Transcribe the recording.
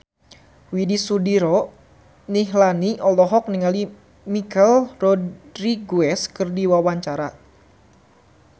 Widy Soediro Nichlany olohok ningali Michelle Rodriguez keur diwawancara